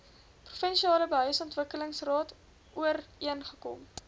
provinsiale behuisingsontwikkelingsraad ooreengekom